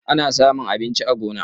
Ana samun abinci a gona.